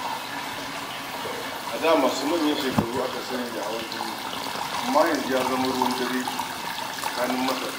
A da masu manyan shekaru aka sani da hawan jini, amma yanzu ya zama ruwan dare a tsakanin matasa.